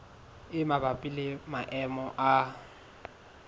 e mabapi le maemo a